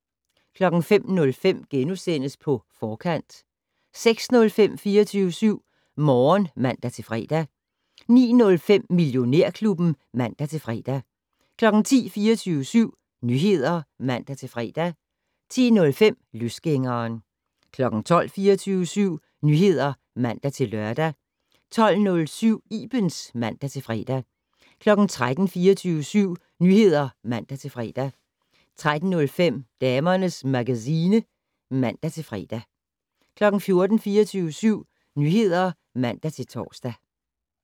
05:05: På Forkant * 06:05: 24syv Morgen (man-fre) 09:05: Millionærklubben (man-fre) 10:00: 24syv Nyheder (man-fre) 10:05: Løsgængeren 12:00: 24syv Nyheder (man-lør) 12:07: Ibens (man-fre) 13:00: 24syv Nyheder (man-fre) 13:05: Damernes Magazine (man-fre) 14:00: 24syv Nyheder (man-tor)